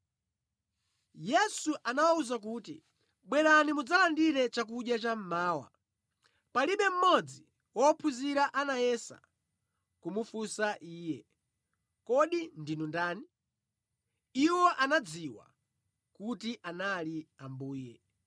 Yesu anawawuza kuti, “Bwerani mudzalandire chakudya chammawa.” Palibe mmodzi wa ophunzira anayesa kumufunsa Iye, “Kodi ndinu ndani?” Iwo anadziwa kuti anali Ambuye.